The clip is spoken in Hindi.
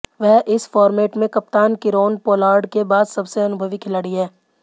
वह इस फॉर्मेट में कप्तान कीरोन पोलार्ड के बाद सबसे अनुभवी खिलाड़ी हैं